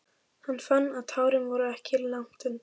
Hann fann að tárin voru ekki langt undan.